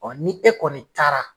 ni e kɔni taara